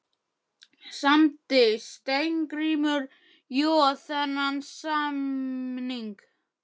Samdi Steingrímur Joð þennan samning fyrir hann?